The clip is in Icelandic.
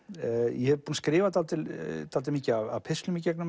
ég er búinn að skrifa dálítið dálítið mikið af pistlum í gegnum